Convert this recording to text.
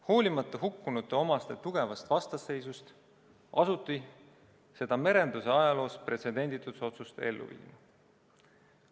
Hoolimata hukkunute omaste tugevast vastuseisust asuti seda merenduse ajaloos pretsedenditut otsust ellu viima.